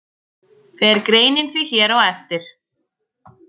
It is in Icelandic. Fer greinin því hér á eftir.